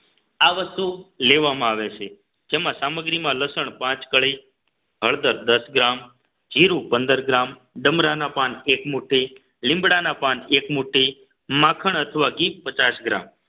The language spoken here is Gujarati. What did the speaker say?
આ વસ્તુ લેવામાં આવે છે જેમાં સામગ્રીમાં લસણ પાંચ કળી હળદર દસ ગ્રામ જીરું પંદર ગ્રામ ડમરાના પાન એક મુઠ્ઠી લીમડાના પાન એક મુઠ્ઠી માખણ અથવા ઘી પચાસ ગ્રામ